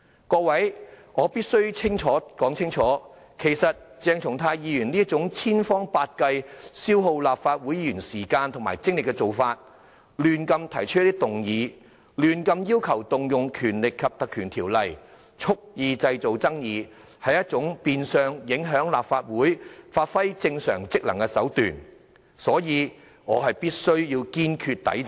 各位，我必須說清楚，鄭松泰議員這種千方百計、消耗立法會議員時間和精力的做法，胡亂提出議案和要求引用《條例》，蓄意製造爭議，是一種變相影響立法會發揮正常職能的手段，所以我必須堅決抵制。